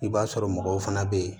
I b'a sɔrɔ mɔgɔw fana be yen